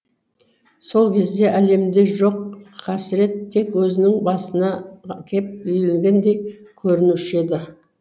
сол кезде әлемде жоқ қасірет тек өзінің басына кеп үйілгендей көрінуші еді